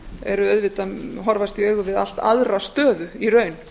horfast auðvitað í augu við allt aðra stöðu í raun